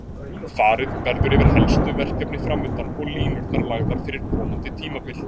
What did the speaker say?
Farið verður yfir helstu verkefni framundan og línurnar lagðar fyrir komandi tímabil.